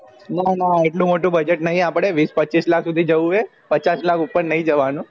ના ના એટલું મોટું budget નહિ આપળે વિશ પચીસ lakh સુધી જાવું એ પચાસ lakh ઉપર નહિ જવા નું